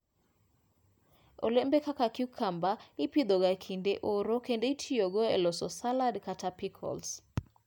Olembe kaka cucumber ipidhoga e kinde mar oro kendo itiyogo e loso salad kata pickles.